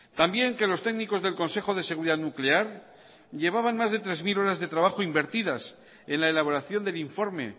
también que los técnicos del consejo de seguridad nuclear llevaban más de tres mil horas de trabajo invertidas en la elaboración del informe